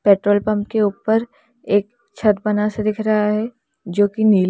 petrol pump के ऊपर एक छत बना सा दिख रहा है जो कि नील--